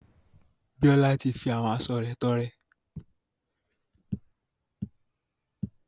Bíọ́lá ti fi àwọn aṣo rẹ̀ tọrẹ.